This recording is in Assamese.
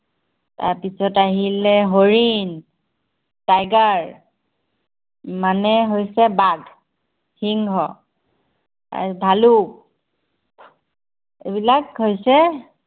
তাৰপিছত আহিলে হৰিণ tiger মানে হৈছে বাঘ। সিংহ তাৰপিছত ভালুক এইবিলাক হৈছে